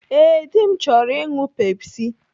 Ee, dị m chọrọ ịṅụ Pepsi.